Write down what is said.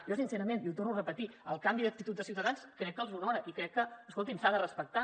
jo sincerament i ho torno a repetir el canvi d’actitud de ciutadans crec que els honora i crec que escoltin s’ha de respectar